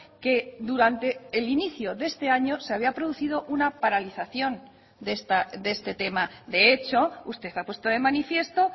que durante el inicio de este año se había producido una paralización de este tema de hecho usted ha puesto de manifiesto